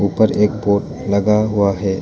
उपर एक बोर्ड लगा हुआ है।